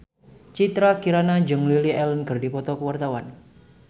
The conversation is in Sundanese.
Citra Kirana jeung Lily Allen keur dipoto ku wartawan